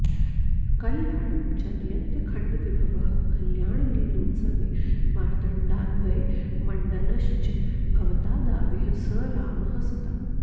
कल्याणं जनयत्यखण्डविभवः कल्याणलीलोत्सवे मार्ताण्डान्वयमण्डनश्च भवतादाविः स रामः सदा